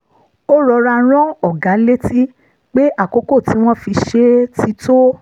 ó rọra rán ọ̀gá létí pé àkókò tí wọ́n fi ṣe é ti tó